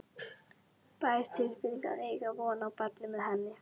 bær tilfinning að eiga von á barni með henni.